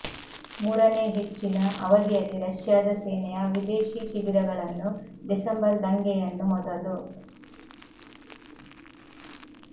ಮೂರನೇ ಹೆಚ್ಚಿನ ಅವಧಿಯಲ್ಲಿ ರಷ್ಯಾದ ಸೇನೆಯ ವಿದೇಶಿ ಶಿಬಿರಗಳನ್ನು ಡಿಸೆಂಬರ್ ದಂಗೆಯನ್ನು ಮೊದಲು